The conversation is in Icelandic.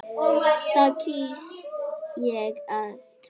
Því kýs ég að trúa.